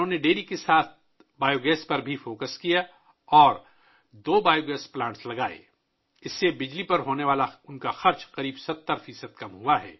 dairy کے ساتھ ساتھ ، انہوں نے بایو گیس پر بھی توجہ دی اور دو بایو گیس پلانٹ لگائے ، جس کی وجہ سے ان کے بجلی پر ہونے والے اخراجات میں تقریباً 70 فیصد کمی آئی ہے